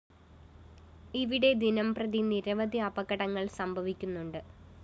ഇവിടെ ദിനംപ്രതി നിരവധി അപകടങ്ങള്‍ സംഭവിക്കുന്നുണ്ട്